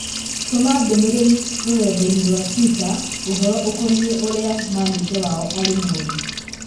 tũma ndũmĩrĩri rũrenda-inī rũa tũita ũhoro ukonĩĩ ũrĩa maneja wao arĩ mũũru